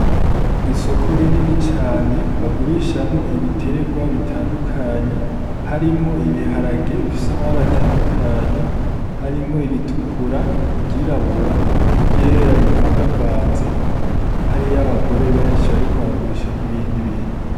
Isoko rinini cane bagurishamwo ibiterwa bitandukanye harimwo ibiharage bifise amabari atandukanye harimwo iritukura igirabura igera bivangavanze hari yo abagore benshi, ariko baragurisha n'ibindi bintu.